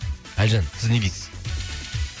әлжан сіз не дейсіз